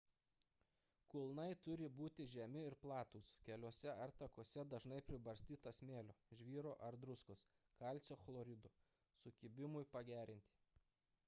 kulnai turi būti žemi ir platūs. keliuose ar takuose dažnai pribarstyta smėlio žvyro ar druskos kalcio chlorido sukibimui pagerinti